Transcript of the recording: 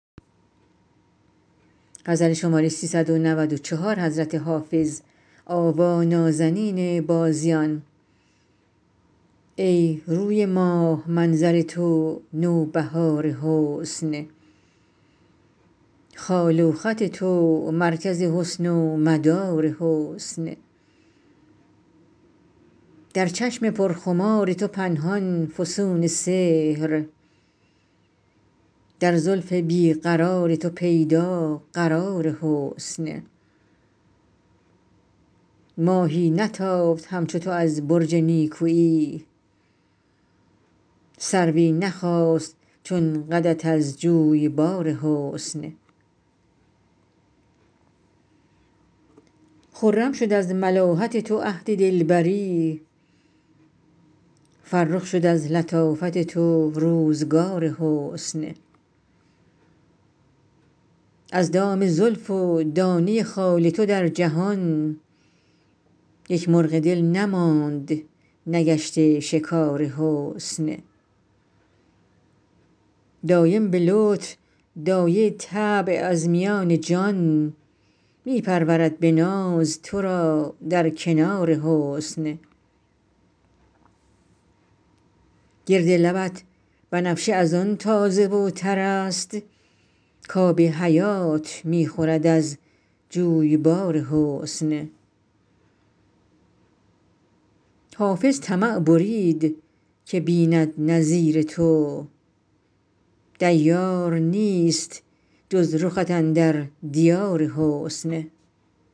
ای روی ماه منظر تو نوبهار حسن خال و خط تو مرکز حسن و مدار حسن در چشم پرخمار تو پنهان فسون سحر در زلف بی قرار تو پیدا قرار حسن ماهی نتافت همچو تو از برج نیکویی سروی نخاست چون قدت از جویبار حسن خرم شد از ملاحت تو عهد دلبری فرخ شد از لطافت تو روزگار حسن از دام زلف و دانه خال تو در جهان یک مرغ دل نماند نگشته شکار حسن دایم به لطف دایه طبع از میان جان می پرورد به ناز تو را در کنار حسن گرد لبت بنفشه از آن تازه و تر است کآب حیات می خورد از جویبار حسن حافظ طمع برید که بیند نظیر تو دیار نیست جز رخت اندر دیار حسن